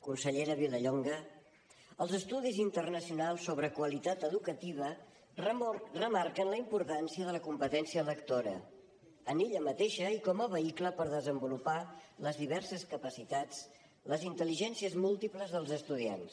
consellera vilallonga els estudis internacionals sobre qualitat educativa remarquen la importància de la competència lectora en ella mateixa i com a vehicle per desenvolupar les diverses capacitats les intel·ligències múltiples dels estudiants